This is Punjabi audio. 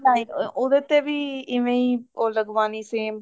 ਹਾਂਜੀ ਉਹਦੇ ਤੇ ਵੀ ਏਵੇਂ ਹੀ ਉਹ ਲਗਵਾਉਣੀ same